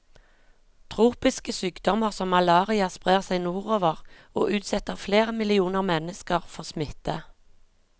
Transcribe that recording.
Tropiske sykdommer som malaria sprer seg nordover, og utsetter flere millioner mennesker for smitte.